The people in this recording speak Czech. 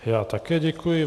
Já také děkuji.